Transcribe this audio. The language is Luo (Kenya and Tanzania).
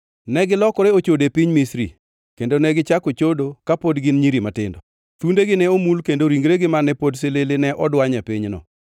Negilokore ochode e piny Misri, kendo negichako chodo kapod gin nyiri matindo. Thundegi ne omul kendo ringregi mane pod silili ne odwany e pinyno.